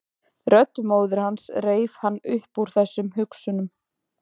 Rödd móður hans reif hann upp úr þessum hugsunum.